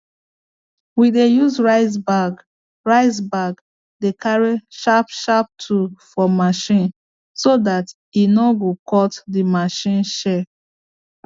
we dey use rice bag rice bag dey carry sharp sharp tool for machine so that e no go cut the machine chair